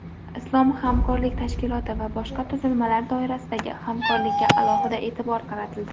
Islom hamkorlik tashkiloti va boshqa tuzilmalar doirasidagi hamkorlikka alohida e’tibor qaratildi.